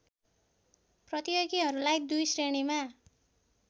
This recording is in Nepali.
प्रतियोगीहरूलाई दुई श्रेणीमा